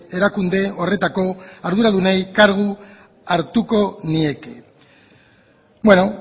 erakunde horretako arduradunei kargu hartuko nieke bueno